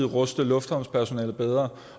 ruste lufthavnspersonalet bedre